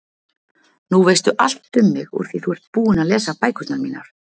Nú veistu allt um mig úr því þú ert búin að lesa bækurnar mínar.